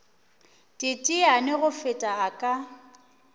teteane go feta a ka